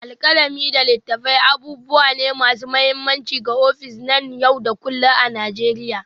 Alkalami da littattafai abubuwa ne masu mahimmanci ga ofis na yau da kullun a Najeriya.